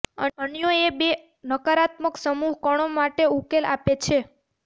અન્યોએ બે નકારાત્મક સમૂહ કણો માટે ઉકેલ આપે છે